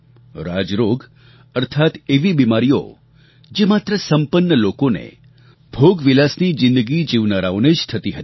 રાજરોગ અર્થાત્ એવી બીમારીઓ જે માત્ર સંપન્ન લોકોને ભોગવિલાસની જિંદગી જીવનારાઓને જ થતી હતી